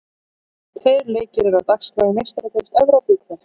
Tveir leikir eru á dagskrá í Meistaradeild Evrópu í kvöld.